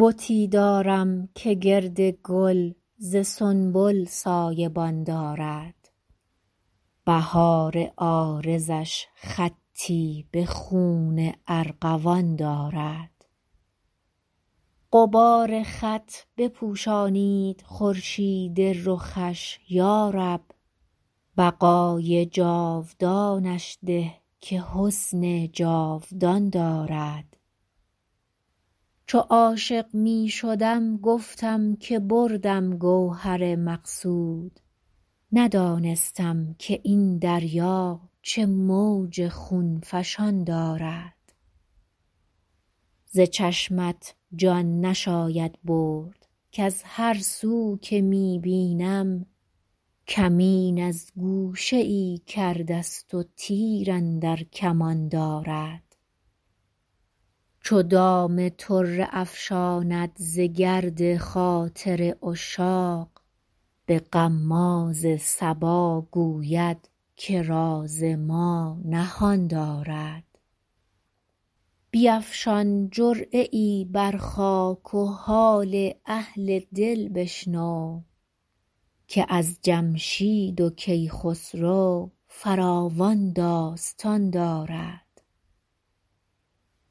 بتی دارم که گرد گل ز سنبل سایه بان دارد بهار عارضش خطی به خون ارغوان دارد غبار خط بپوشانید خورشید رخش یا رب بقای جاودانش ده که حسن جاودان دارد چو عاشق می شدم گفتم که بردم گوهر مقصود ندانستم که این دریا چه موج خون فشان دارد ز چشمت جان نشاید برد کز هر سو که می بینم کمین از گوشه ای کرده ست و تیر اندر کمان دارد چو دام طره افشاند ز گرد خاطر عشاق به غماز صبا گوید که راز ما نهان دارد بیفشان جرعه ای بر خاک و حال اهل دل بشنو که از جمشید و کیخسرو فراوان داستان دارد